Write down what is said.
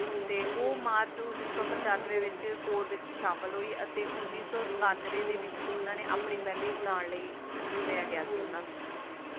ਤੇ ਓਹ ਮਾਰਚ ਉੱਨੀ ਸੌ ਪਚਾਨਵੇਂ ਵਿੱਚ Core ਵਿੱਚ ਸ਼ਾਮਿਲ ਹੋਈ ਅਤੇ ਉੱਨੀ ਸੋ ਸਤਾਨਵੈ ਦੇ ਵਿੱਚ ਓਹਨਾ ਨੇ ਆਪਣੀ ਪਹਿਲੀ ਉਡਾਣ ਲਈ ਚੁਣਿਆ ਗਿਆ ਸੀ ਓਹਨਾ ਨੂ